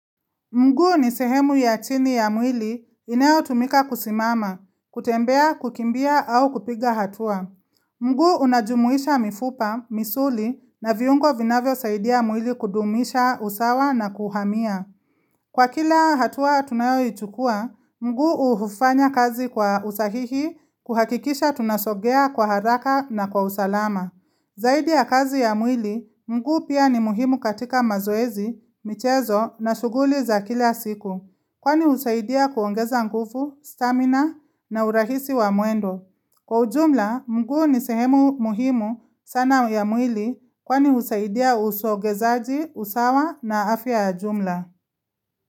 Mguu ni sehemu ya chini ya mwili inayotumika kusimama, kutembea, kukimbia au kupiga hatua. Mguu unajumuisha mifupa, misuli na viungo vinavyo saidia mwili kudumisha usawa na kuhamia. Kwa kila hatua tunayo ichukua, mguu uhufanya kazi kwa usahihi kuhakikisha tunasogea kwa haraka na kwa usalama. Zaidi ya kazi ya mwili, mguu pia ni muhimu katika mazoezi, michezo na shughuli za kila siku Kwani husaidia kuongeza nguvu, stamina na urahisi wa mwendo Kwa ujumla, mguu ni sehemu muhimu sana ya mwili kwani husaidia usogezaji, usawa na afya ya jumla.